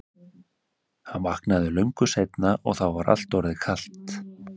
Hann vaknaði löngu seinna og var þá orðið kalt.